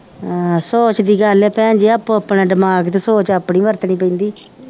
ਆਹ ਸੋਚ ਦੀ ਗੱਲ ਆ ਭੈਣ ਜੀ ਆਪੋ ਆਪਣਾ ਦਮਾਗ ਤੇ ਸੋਚ ਤੇ ਆਪਣੀ ਵਰਤਣੀ ਪੈਂਦੀ